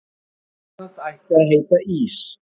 Grænland ætti að heita Ís